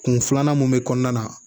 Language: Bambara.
Kun filanan mun bɛ kɔnɔna na